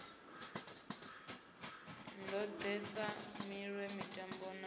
ndode sa miṋwe mitambo na